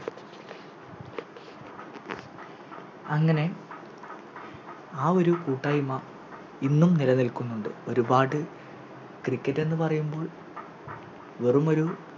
അങ്ങനെ ആ ഒരു കൂട്ടായ്മ ഇന്നും നിലനിൽക്കുന്നുണ്ട് ഒരുപാട് Cricket എന്ന് പറയുമ്പോൾ വെറുമൊരു